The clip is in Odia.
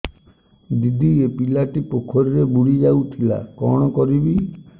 ଦିଦି ଏ ପିଲାଟି ପୋଖରୀରେ ବୁଡ଼ି ଯାଉଥିଲା କଣ କରିବି